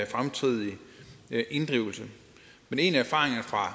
fremtidige inddrivelse men en af erfaringerne fra